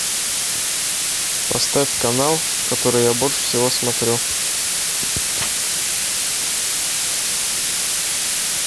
поставь канал который я больше всего смотрю